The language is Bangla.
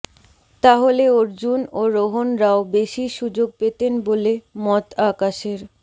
তাহলে অর্জুন ও রোহনরাও বেশি সুযোগ পেতেন বলে মত আকাশের